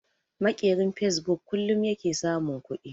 Maƙerin fasebuk kullun yake samun kuɗi